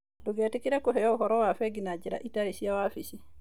Ndũgetĩkĩre kũheo ũhoro wa bengi na njĩra itarĩ cia wabici.